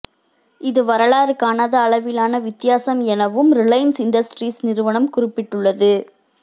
இது வரலாறு காணாத அளவிலான வித்தியாசம் எனவும் ரிலையன்ஸ் இண்டஸ்ட்ரீஸ் நிறுவனம் குறிப்பிட்டுள்ளது